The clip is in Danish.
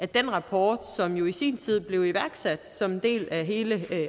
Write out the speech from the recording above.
den rapport som jo i sin tid blev iværksat som en del af hele